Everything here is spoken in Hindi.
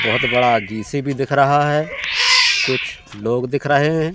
बहोत बड़ा जे_सी_बी दिख रहा है कुछ लोग दिख रहे हैं।